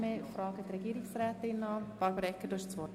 Deshalb erteile ich Regierungsrätin Egger das Wort.